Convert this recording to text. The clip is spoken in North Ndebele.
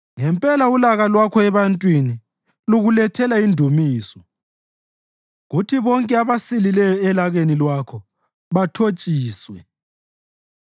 Ngempela ulaka lwakho ebantwini lukulethela indumiso, kuthi bonke abasilileyo elakeni lwakho bathotshiswe.